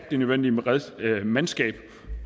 det nødvendige mandskab